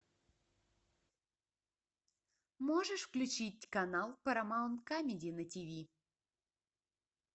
можешь включить канал парамаунт камеди на тиви